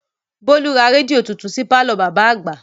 Bólú ra rédíò titun sí pàlọ́ bàbá àgbà